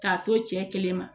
K'a to cɛ kelen ma